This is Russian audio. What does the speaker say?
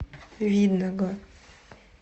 видного